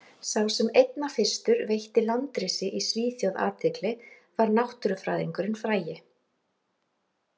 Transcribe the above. Sá sem einna fyrstur veitti landrisi í Svíþjóð athygli var náttúrufræðingurinn frægi.